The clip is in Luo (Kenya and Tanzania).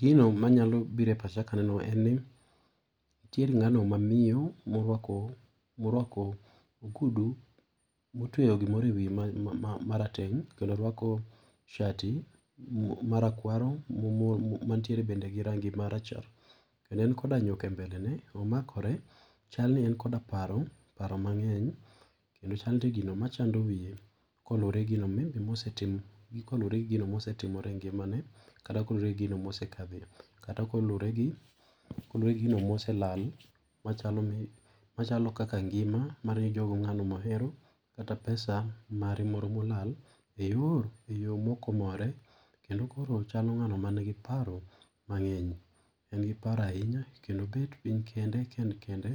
Gino manyalo biro epacha ka aneno en ni, nitiere ng'ano ma miyo morwako, morwako ogudu motweyo gimoro ewiye marateng' kendo orwako shati marakwaro mo mo matiere bende gi rangi marachar. Kendo en koda nyuka e mbelene, omakore chalni en koda paro, paro mang'eny kendo chalni nitie gino machando wiye koluore gi gino maybe mosetiom gi kolure gino mosetimore engimane, kata kolure gino mosekadhe kata kolure gi gino moselal machalo kaka ngima mar ni jogo ng'ano mohero kata pesa mare moro molal eyor e yoo mok ok omore. kendo koro chalo ng'ano manigi paro mang'eny. En gi paro ahinya kendo obet piny kende, ka en kende